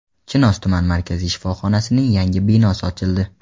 Chinoz tuman markaziy shifoxonasining yangi binosi ochildi.